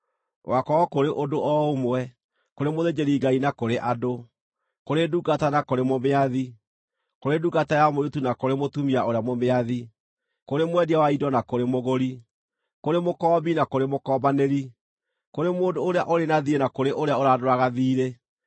gũgaakorwo kũrĩ ũndũ o ũmwe kũrĩ mũthĩnjĩri-Ngai na kũrĩ andũ, kũrĩ ndungata na kũrĩ mũmĩathi, kũrĩ ndungata ya mũirĩtu na kũrĩ mũtumia ũrĩa mũmĩathi, kũrĩ mwendia wa indo na kũrĩ mũgũri, kũrĩ mũkoombi na kũrĩ mũkoombanĩri, kũrĩ mũndũ ũrĩa ũrĩ na thiirĩ na kũrĩ ũrĩa ũrandũraga thiirĩ.